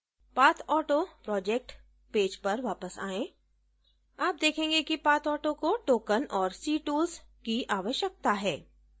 pathauto project page पर वापस आएँ आप देखेंगे कि pathauto को token और ctools की आवश्यकता है